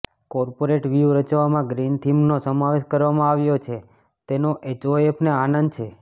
corporate વ્યૂહ રચવામાં green થીમનો સમાવેશ કરવામાં આવ્યો છે તેનો એચઓએફને આનંદ છે